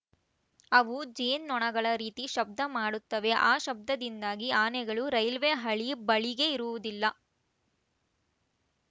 ಅವು ಜೇನ್ನೊಣಗಳ ರೀತಿ ಶಬ್ದ ಮಾಡುತ್ತವೆ ಆ ಶಬ್ದದಿಂದಾಗಿ ಆನೆಗಳು ರೈಲ್ವೆ ಹಳಿ ಬಳಿಗೆ ಬರುವುದಿಲ್ಲ